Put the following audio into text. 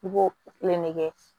I b'o kelen de kɛ